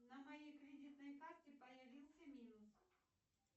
на моей кредитной карте появился минус